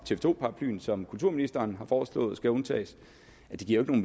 to paraplyen som kulturministeren har foreslået skal undtages giver det